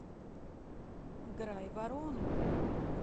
грайворону